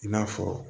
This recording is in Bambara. I n'a fɔ